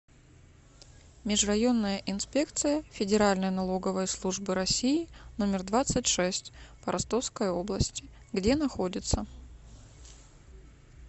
межрайонная инспекция федеральной налоговой службы россии номер двадцать шесть по ростовской области где находится